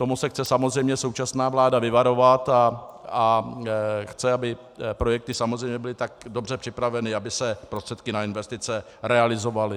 Toho se chce samozřejmě současná vláda vyvarovat a chce, aby projekty samozřejmě byly tak dobře připraveny, aby se prostředky na investice realizovaly.